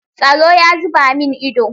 Tsaro ya zuba min ido.